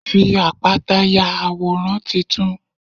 Fi àpáta ya àwòrán titun.